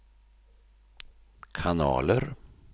kanaler